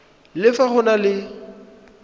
le fa go na le